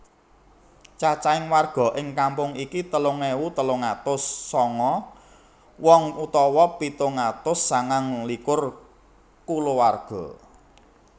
Cacahing warga ing kampung iki telung ewu telung atus sanga wong utawa pitung atus sangang likur kulawarga